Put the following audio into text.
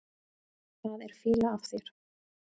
Það er fýla af þér.